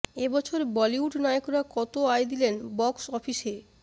এ বছর বলিউড নায়করা কত আয় দিলেন বক্স অফিসে